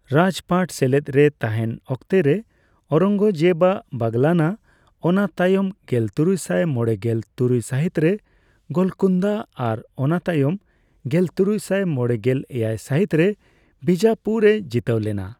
ᱨᱟᱡᱽ ᱯᱟᱴ ᱥᱮᱞᱮᱫᱽ ᱨᱮ ᱛᱟᱦᱮᱱ ᱚᱠᱛᱮ ᱨᱮ ᱳᱨᱚᱝᱜᱚᱡᱮᱵ ᱟᱜ ᱵᱟᱜᱞᱟᱱᱟ, ᱚᱱᱟ ᱛᱟᱭᱚᱢ ᱜᱮᱞᱛᱩᱨᱩᱭᱥᱟᱭ ᱢᱚᱲᱮᱜᱮᱞ ᱛᱩᱨᱩᱭ ᱥᱟᱦᱤᱛ ᱨᱮ ᱜᱳᱞᱠᱳᱱᱫᱟ ᱟᱨ ᱚᱱᱟ ᱛᱟᱭᱚᱢ ᱜᱮᱞᱛᱩᱨᱩᱭᱥᱟᱭ ᱢᱚᱲᱮᱜᱮᱞ ᱮᱭᱟᱭ ᱥᱟᱦᱤᱛᱨᱮ ᱵᱤᱡᱟ ᱯᱩᱨ ᱮ ᱡᱤᱛᱟᱹᱣ ᱞᱮᱱᱟ ᱾